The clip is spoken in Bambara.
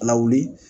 Lawuli